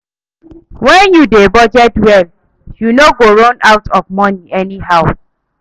Wen yu dey budget well, yu no go run out of moni any how.